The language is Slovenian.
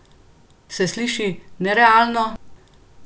Se sliši nerealno?